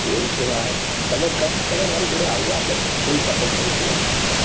એવું છે ભાઈ તમે કઈ તમે મારી જોડે આપડે full support કરીશું તમને.